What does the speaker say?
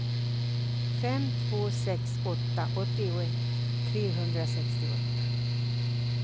fem två sex åtta åttioett trehundrasextioåtta